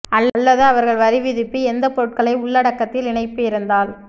அல்லது அவர்கள் வரிவிதிப்பு எந்த பொருட்களை உள்ளடக்கத்தில் இணைப்பு இருந்தால்